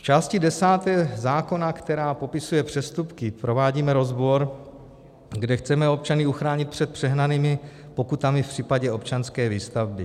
V části desáté zákona, která popisuje přestupky, provádíme rozbor, kde chceme občany uchránit před přehnanými pokutami v případě občanské výstavby.